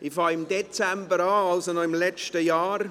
Ich beginne im Dezember, also noch im letzten Jahr.